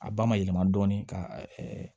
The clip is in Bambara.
A ba ma yɛlɛma dɔɔnin ka